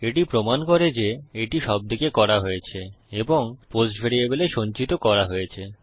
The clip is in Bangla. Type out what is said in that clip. এটি প্রমান করে যে এটি সবদিকে করা হয়েছে এবং পোস্ট ভ্যারিয়েবলে সঞ্চিত করা হয়েছে